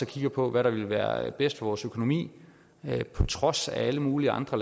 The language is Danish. kigger på hvad der ville være bedst for vores økonomi på trods af alle mulige andre